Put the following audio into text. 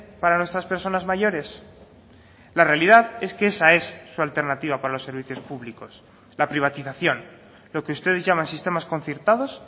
para nuestras personas mayores la realidad es que esa es su alternativa para los servicios públicos la privatización lo que ustedes llaman sistemas concertados